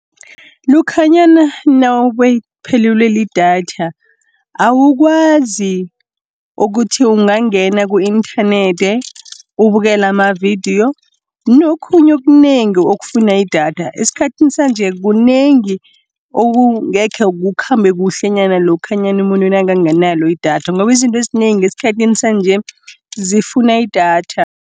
lokhanyana phelelwe lidatha awukwazi ukuthi ungangena ku inthanethi ubukela amavidiyo nokhunye okunengi okufuna idatha, esikhathini sanje kunengi okungeke kukhambe kuhlenyana lokhanyana umuntu nakanganalo idatha ngoba izinto ezinengi esikhathini sanje zifuna idatha